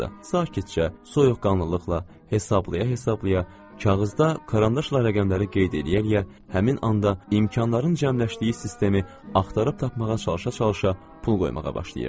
Sakitcə, soyuqqanlılıqla, hesablaya-hesablaya, kağızda karandaşla rəqəmləri qeyd eləyə-eləyə, həmin anda imkanların cəmləşdiyi sistemi axtarıb tapmağa çalışa-çalışa pul qoymağa başlayırdı.